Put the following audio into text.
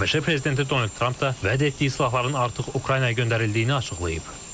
ABŞ prezidenti Donald Tramp da vəd etdiyi silahların artıq Ukraynaya göndərildiyini açıqlayıb.